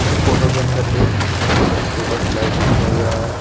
इस फोटो के अंदर एक बच्चों का स्लाइडर दिखाई दे रहा है।